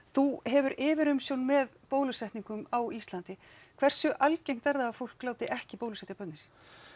þú hefur yfirumsjón með bólusetningum á Íslandi hversu algengt er það að fólk láti ekki bólusetja börnin sín